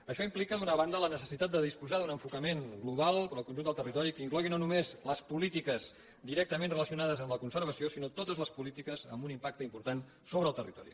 això implica d’una banda la necessitat de disposar d’un enfocament global per al conjunt del territori que inclogui no només les polítiques directament relacionades amb la conservació sinó totes les polítiques amb un impacte important sobre el territori